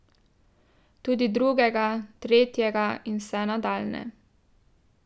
Tudi drugega, tretjega in vse nadaljnje.